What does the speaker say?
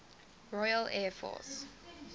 royal air force